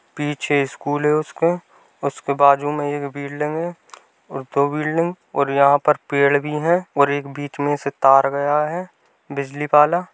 पीछे स्कूल है उसके। उसके बाजू में एक बिल्डिंग है और दो बिल्डिंग और यहाँ पर पेड़ भी हैं और एक बीच में से तार गया है बिजली वाला।